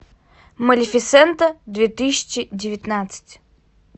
малефисента две тысячи девятнадцать